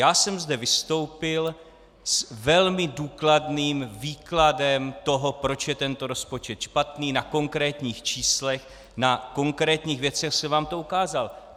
Já jsem zde vystoupil s velmi důkladným výkladem toho, proč je tento rozpočet špatný, na konkrétních číslech, na konkrétních věcech jsem vám to ukázal.